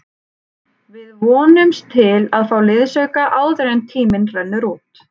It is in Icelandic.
Við vonumst til að fá liðsauka áður en tíminn rennur út.